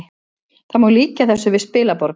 Það má líkja þessu við spilaborg